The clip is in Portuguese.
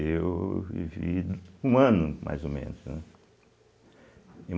Eu vivi um ano, mais ou menos, né?